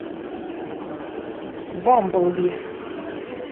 бамблби